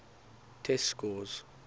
test scores